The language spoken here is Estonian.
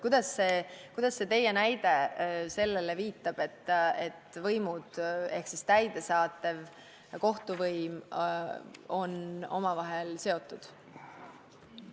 Kuidas see teie näide viitab sellele, et täidesaatev võim ja kohtuvõim on omavahel seotud?